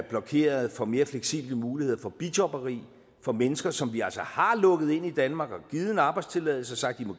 blokerede for mere fleksible muligheder for bijobberi for mennesker som vi altså har lukket ind i danmark og givet en arbejdstilladelse og sagt